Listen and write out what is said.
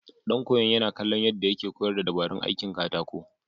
Ɗan koyon yana kallon yadda yake koyar da dabarun aikin katako.